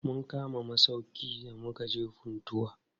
Mun kama masauƙi da mukaje Funtua.